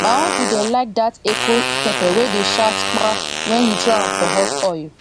my uncle dey like dat echo pepper wey dey shout kpraaah when you throw am for hot oil